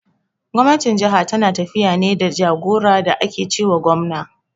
Gwamnatin jaha tana tafiya ne da jagora da ake ce wa gwamna.